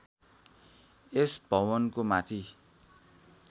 यस भवनको माथि